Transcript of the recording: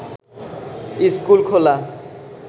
school খোলা